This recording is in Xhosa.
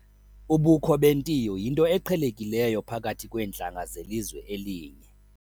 Ubukho bentiyo yinto eqhelekileyo phakathi kweentlanga zelizwe elinye.